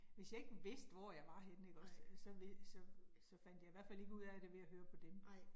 Hvis jeg ikke vidste, hvor jeg var henne ikke også, så så så fandt jeg i hvert fald ikke ud af det ved at høre på dem